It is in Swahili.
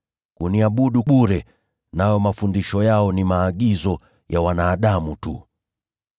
Huniabudu bure; nayo mafundisho yao ni maagizo ya wanadamu tu.’ ”